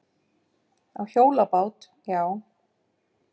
Á hjólabát, já.